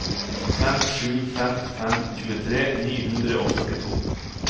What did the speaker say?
fem sju fem fem tjuetre ni hundre og førtito